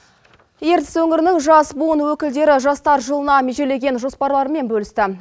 ертіс өңірінің жас буын өкілдері жастар жылына межелеген жоспарларымен бөлісті